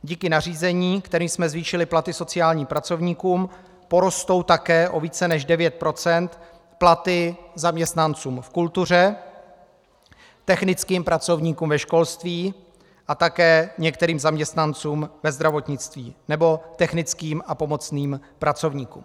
Díky nařízení, kterým jsme zvýšili platy sociálním pracovníkům, porostou také o více než 9 % platy zaměstnancům v kultuře, technickým pracovníkům ve školství a také některým zaměstnancům ve zdravotnictví nebo technickým a pomocným pracovníkům.